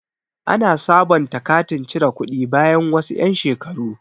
Ana sabonta katin cire kuɗi bayan wasu yan' shekaru.